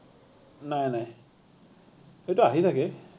নাই নাই, সি তো আহি থাকে